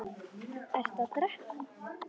Ertu að drekka?